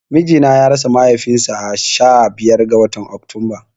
Mijina ya rasa mahaifin sa sha biyar ga watan Oktunba